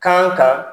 Kan kan